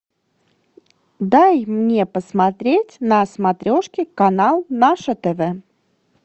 дай мне посмотреть на смотрешке канал наше тв